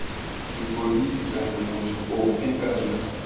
sepodisi kana motho ofe kana